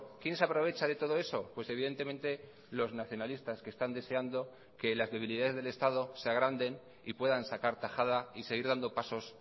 quién se aprovecha de todo eso pues evidentemente los nacionalistas que están deseando que las debilidades del estado se agranden y puedan sacar tajada y seguir dando pasos